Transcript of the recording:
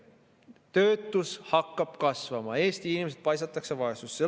Töötus hakkab kasvama, Eesti inimesed paisatakse vaesusesse.